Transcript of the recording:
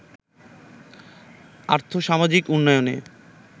আর্থ-সামাজিক উন্নয়নের